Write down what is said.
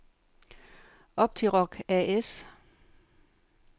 Optiroc A/S